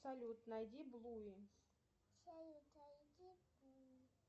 салют найди блуи